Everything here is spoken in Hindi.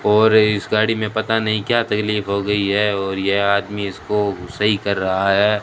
और इस गाड़ी में पता नहीं क्या तकलीफ हो गई है और यह आदमी इसको सही कर रहा है।